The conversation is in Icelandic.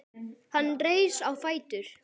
Hann reis á fætur.